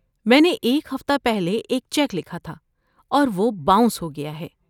میں نے ایک ہفتہ پہلے ایک چیک لکھا تھا اور وہ باؤنس ہو گیا ہے۔